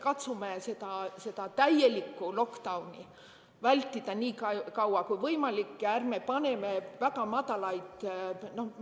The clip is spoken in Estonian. Katsume seda täielikku lockdown'i vältida nii kaua, kui võimalik, ja ärme paneme väga madalaid.